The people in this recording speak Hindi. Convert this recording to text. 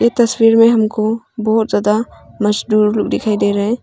तस्वीर में हमको बहुत ज्यादा मजदूर लोग दिखाई दे रहा है।